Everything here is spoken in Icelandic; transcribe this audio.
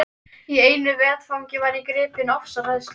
Í einu vetfangi var ég gripin ofsahræðslu.